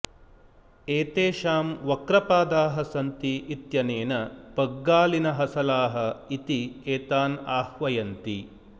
एतेषां वक्रपादाः सन्ति इत्यनेन बग्गालिनहसलाः इति एतान् आह्वयन्ति